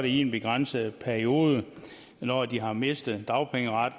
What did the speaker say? i en begrænset periode når de har mistet dagpengeret